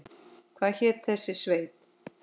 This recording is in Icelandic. Hvað hét þessi sveit?